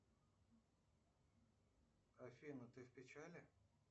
афина ты в печали